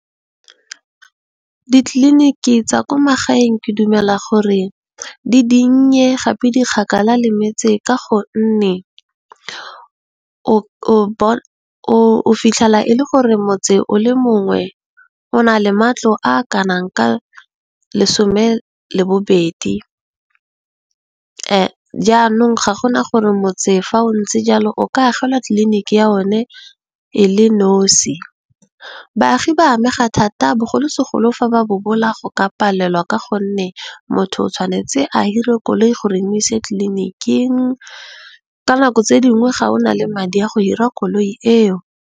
Ditliliniki tsa kwa magaeng ke dumela gore di dinnye gape di kgakala le metse ka gonne, o fitlhela e le gore motse o le mongwe o na le matlo a kanang ka lesome le bobedi jaanong, ga go na gore motse fa o ntse jalo o ka agelwa tlliniki ya o ne o le nosi. Baagi ba amega thata bogolosegolo fa ba bobola ba palelwa ka gonne, motho o tshwanetse a hire koloi go re e mo ise tlliniking ka nako tse dingwe ga o na le madi a go hira koloi eo.